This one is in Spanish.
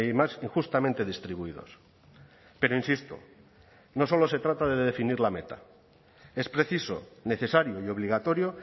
más injustamente distribuidos pero insisto no solo se trata de definir la meta es preciso necesario y obligatorio